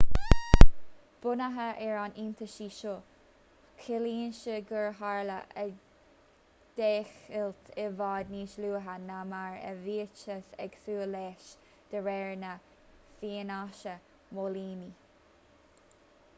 bunaithe ar an iontaise seo ciallaíonn sé gur tharla an deighilt i bhfad níos luaithe ná mar a bhíothas ag súil leis de réir na fianaise móilíní